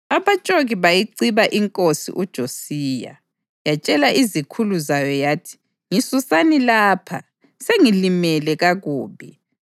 Abatshoki bayiciba inkosi uJosiya, yatshela izikhulu zayo yathi, “Ngisusani lapha, sengilimele kakubi.”